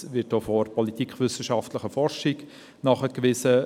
Dies wird auch von der politikwissenschaftlichen Forschung nachgewiesen.